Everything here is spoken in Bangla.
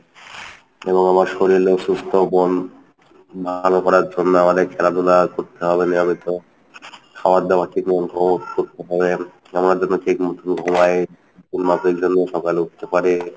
এবং আমার শরীরেও সুস্থ মন ভালো করার জন্য আমাদের খেলাধুলা করতে হবে নিয়মিত খাবার দাবার ঠিকমত ঠিক মতো করতে হবে আমরা যেন ঠিক মত ঘুমাই ঠিকমত সকালে উঠতে পারি।